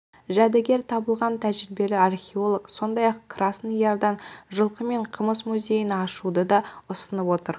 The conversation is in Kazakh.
жәдігер табылған тәжірибелі археолог сондай-ақ красный ярдан жылқы мен қымыз музейін ашуды да ұсынып отыр